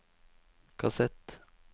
kassett